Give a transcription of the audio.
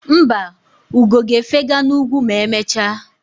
Mba, ugo ga-efega n'ugwu ma emechaa.